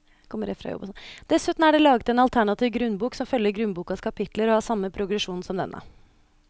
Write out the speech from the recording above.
Dessuten er det laget en alternativ grunnbok som følger grunnbokas kapitler og har samme progresjon som denne.